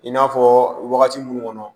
I n'a fɔ wagati munnu kɔnɔ